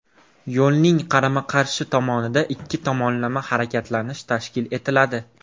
Yo‘lning qarama-qarshi tomonida ikki tomonlama harakatlanish tashkil etiladi.